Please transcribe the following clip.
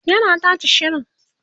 yana tace shirin